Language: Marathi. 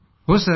हो सर